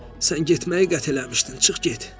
Sən getməyi qətl eləmişdin, çıx get.